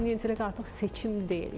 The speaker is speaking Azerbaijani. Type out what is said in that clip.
Süni intellekt artıq seçim deyil.